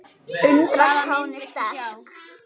Undrast hvað hún er sterk.